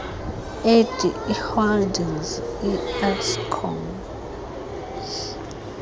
edi holdings ieskom